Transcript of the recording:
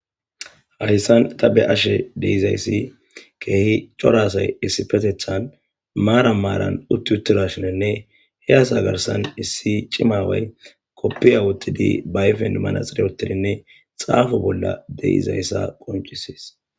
hayssan tabe ashe deizayssi keehi corasay issi petethan maara maaran utti uttirashonenne hey asa garsan issi cimaway koppiya wottidi bayfen manaxire utidinne xaafu bolla deizayssa qoncisis